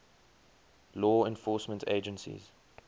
law enforcement agencies